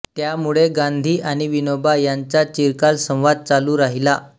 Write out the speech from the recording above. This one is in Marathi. त्यामुळे गांधी आणि विनोबा यांचा चिरकाल संवाद चालू राहिला